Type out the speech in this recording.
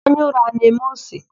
Anya ụra a na-eme ose?